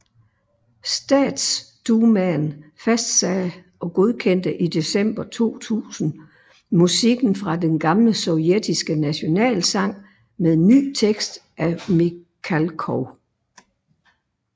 Statsdumaen fastsagde og godkendte i december 2000 musikken fra den gamle sovjetiske nationalsang med ny tekst af Mikhalkov